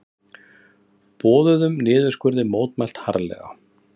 Boðuðum niðurskurði mótmælt harðlega